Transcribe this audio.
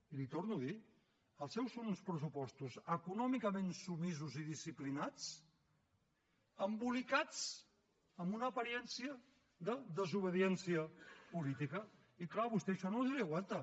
i li ho torno a dir els seus són uns pressupostos econòmicament submisos i disciplinats embolicats amb una aparença de desobediència política i és clar a vostè això no hi ha qui li aguanta